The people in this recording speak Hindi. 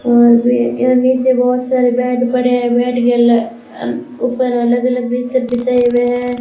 और भी यहां नीचे बहुत सारे बेड पड़े हैं बेड के अह ऊपर अलग अलग बिस्तर बिछाए हुए हैं।